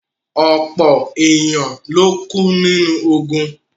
Ọpọ̀ èèyàn ló kú nínú ogùn